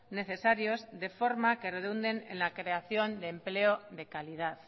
necesarios de forma que redunde en la creación de empleo de calidad